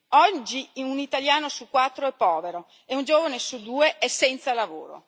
Oggi un italiano su quattro è povero e un giovane su due è senza lavoro.